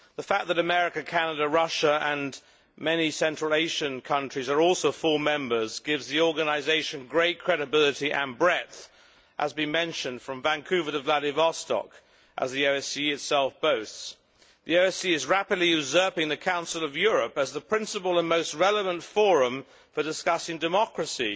The fact that America, Canada, Russia and many Central Asian countries are also full members gives the organisation great credibility and breadth from Vancouver to Vladivostok', as the OSCE itself boasts. The OSCE is rapidly usurping the Council of Europe as the principal and most relevant forum for discussing democracy